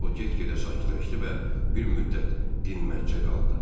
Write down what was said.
O get-gedə sakitləşdi və bir müddət dinməzcə qaldı.